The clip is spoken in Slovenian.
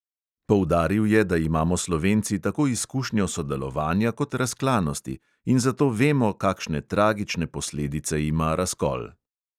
Poudaril je, da imamo slovenci tako izkušnjo sodelovanja kot razklanosti in zato vemo, kakšne tragične posledice ima razkol.